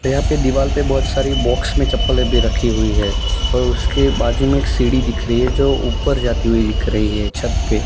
यहां पे दीवाल पे बहुत सारी बॉक्स में चप्पलें भी रखी हुई है और उसके बाजू में एक सीढ़ी दिख रही है जो ऊपर जाती हुई दिख रही है छत पे।